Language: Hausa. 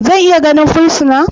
Zan iya ganin fursuna?